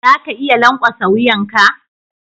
Za ka iya lankwasa wuyan ka?